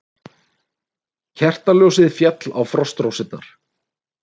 Kertaljósið féll á frostrósirnar.